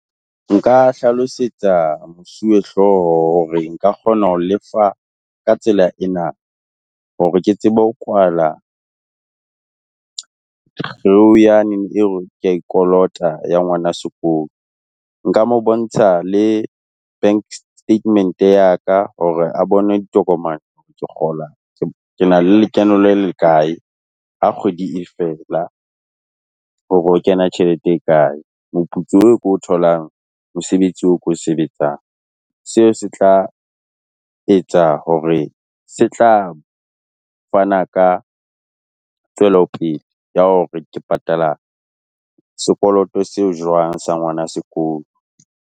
Nka hlalosetsa mosuwe hlooho hore nka kgona ho le fa ka tsela ena, hore ke tsebe ho kwala kea e kolota ya ngwana sekolo. Nka mo bontsha le bank statement ya ka, hore a bone ditokomane ke kgola, ke na lekeno le le kae ha kgwedi e fela hore ho kena tjhelete e kae, moputso e ke o tholang, mosebetsi o ke o sebetsang. Seo se tla etsa hore se tla fana ka tswelopele ya hore ke patala sekoloto seo jwang sa ngwana sekolo.